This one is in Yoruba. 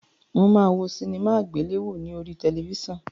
Mó má wo sinimá àgbéléwò ní orí tẹlifíṣàn